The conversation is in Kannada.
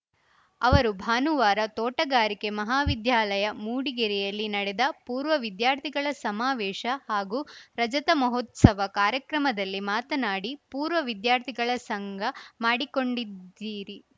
ಅವರು ಭಾನುವಾರ ತೋಟಗಾರಿಕೆ ಮಹಾವಿದ್ಯಾಲಯ ಮೂಡಿಗೆರೆಯಲ್ಲಿ ನಡೆದ ಪೂರ್ವ ವಿದ್ಯಾರ್ಥಿಗಳ ಸಮಾವೇಶ ಹಾಗೂ ರಜತ ಮಹೋತ್ಸವ ಕಾರ್ಯಕ್ರಮದಲ್ಲಿ ಮಾತನಾಡಿ ಪೂರ್ವ ವಿದ್ಯಾರ್ಥಿಗಳ ಸಂಘ ಮಾಡಿಕೊಂಡಿದ್ದೀರಿ